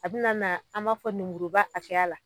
A bi na na, an b'a fɔ lemuruba hakɛya la.